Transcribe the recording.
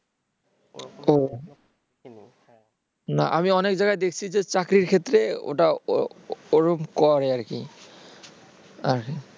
ও না আমি অনেক জায়গায় দেখছি যে চাকরির ক্ষেত্রে ওটা ওরকম করে আরকি